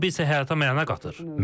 Hobbi isə həyata məna qatır.